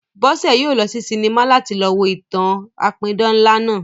Bọ́sẹ̀ yóò lọ sí sinimá láti lọ wo ìtàn-an apidán ńlá náà